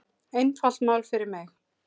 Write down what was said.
Einfalt mál fyrir mig.